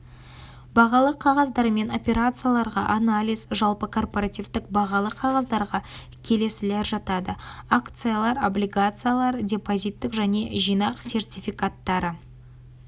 бағалы қағаздармен операцияларға анализ жалпы корпоративтік бағалы қағаздарға келесілер жатады акциялар облигациялар депозиттік және жинақ сертификаттары